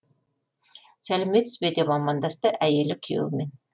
сәлеметсіз бе деп амандасты әйелі күйеуімен